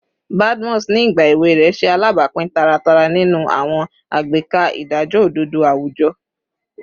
Badmus, ni igba ewe rẹ, ṣe alabapin taratara ninu awọn agbeka idajọ ododo awujọ